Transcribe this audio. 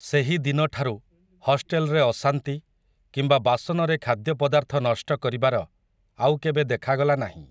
ସେହି ଦିନଠାରୁ, ହଷ୍ଟେଲ୍‌ରେ ଅଶାନ୍ତି, କିମ୍ବା ବାସନରେ ଖାଦ୍ୟପଦାର୍ଥ ନଷ୍ଟ କରିବାର, ଆଉ କେବେ ଦେଖାଗଲା ନାହିଁ ।